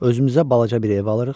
Özümüzə balaca bir ev alırıq.